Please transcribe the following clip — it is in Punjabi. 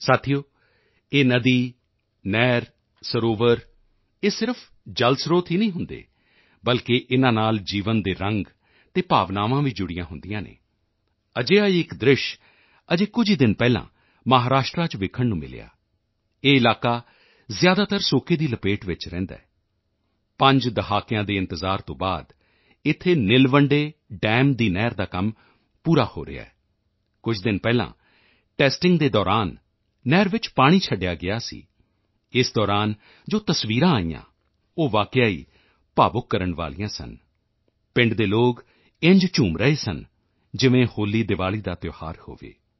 ਸਾਥੀਓ ਇਹ ਨਦੀ ਨਹਿਰ ਸਰੋਵਰ ਇਹ ਸਿਰਫ਼ ਜਲਸਰੋਤ ਹੀ ਨਹੀਂ ਹੁੰਦੇ ਬਲਕਿ ਇਨ੍ਹਾਂ ਨਾਲ ਜੀਵਨ ਦੇ ਰੰਗ ਅਤੇ ਭਾਵਨਾਵਾਂ ਵੀ ਜੁੜੀਆਂ ਹੁੰਦੀਆਂ ਹਨ ਅਜਿਹਾ ਹੀ ਇੱਕ ਦ੍ਰਿਸ਼ ਅਜੇ ਕੁਝ ਹੀ ਦਿਨ ਪਹਿਲਾਂ ਮਹਾਰਾਸ਼ਟਰ ਚ ਦੇਖਣ ਨੂੰ ਮਿਲਿਆ ਇਹ ਇਲਾਕਾ ਜ਼ਿਆਦਾਤਰ ਸੋਕੇ ਦੀ ਲਪੇਟ ਵਿੱਚ ਰਹਿੰਦਾ ਹੈ ਪੰਜ ਦਹਾਕਿਆਂ ਦੇ ਇੰਤਜ਼ਾਰ ਤੋਂ ਬਾਅਦ ਇੱਥੇ ਨਿਲਵੰਡੇ ਡੈਮ ਨੀਲਵੰਡੇ ਦਮ ਦੀ ਨਹਿਰ ਦਾ ਕੰਮ ਹੁਣ ਪੂਰਾ ਹੋ ਰਿਹਾ ਹੈ ਕੁਝ ਦਿਨ ਪਹਿਲਾਂ ਟੈਸਟਿੰਗ ਦੇ ਦੌਰਾਨ ਨਹਿਰ ਵਿੱਚ ਪਾਣੀ ਛੱਡਿਆ ਗਿਆ ਸੀ ਇਸ ਦੌਰਾਨ ਜੋ ਤਸਵੀਰਾਂ ਆਈਆਂ ਉਹ ਵਾਕਈ ਹੀ ਭਾਵੁਕ ਕਰਨ ਵਾਲੀਆਂ ਸਨ ਪਿੰਡ ਦੇ ਲੋਕ ਇੰਝ ਝੂਮ ਰਹੇ ਸਨ ਜਿਵੇਂ ਹੋਲੀਦਿਵਾਲੀ ਦਾ ਤਿਓਹਾਰ ਹੋਵੇ